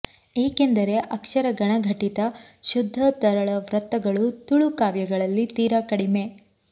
ಏಕೆಂದರೆ ಅಕ್ಷರ ಗಣ ಘಟಿತ ಶುದ್ಧ ತರಳ ವೃತ್ತಗಳು ತುಳು ಕಾವ್ಯಗಳಲ್ಲಿ ತೀರಾ ಕಡಿಮೆ